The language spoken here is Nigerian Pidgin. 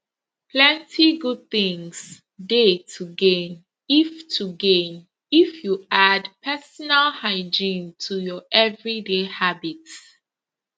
plenty good things dey to gain if to gain if you add personal hygiene to your everyday habits